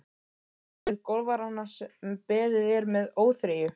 Á við golfarana sem beðið er með óþreyju.